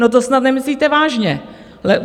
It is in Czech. No to snad nemyslíte vážně.